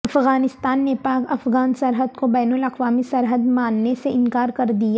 افغانستان نے پاک افغان سرحد کو بین الاقوامی سرحد ماننے سے انکار کر دیا